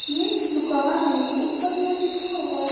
यह एक दुकान है ऊपर में लिखा हुआ है।